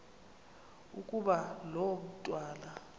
ukuba lo mntwana